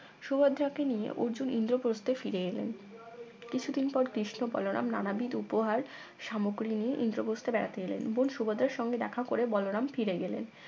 সুভদ্রাকে নিয়ে অর্জুন ইন্দ্রপ্রস্থে ফিরে এলেন কিছুদিন পর কৃষ্ণ বলরাম নানাবিধ উপহার সামগ্রী নিয়ে ইন্দ্রপ্রস্থে বেড়াতে এলেন বোন সুভদ্রার সঙ্গে দেখা করে বলরাম ফিরে গেলেন